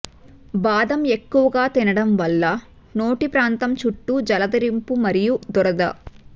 బాదం ఎక్కువగా తినడం వల్ల నోటి ప్రాంతం చుట్టూ జలదరింపు మరియు దురద